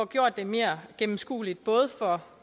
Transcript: gjort mere gennemskueligt for